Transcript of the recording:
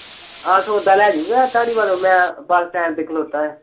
ਆਹ ਸੌਦਾ ਲੇਜਊਗਾ ਧਾਰੀਵਾਲੋਂ ਮੈਂ bus stand ਤੇ ਖਲੋਤਾ ਆ